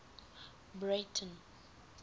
breyten